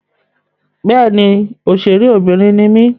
Bẹ́ẹ̀ni, òṣèré obìnrin ni mí.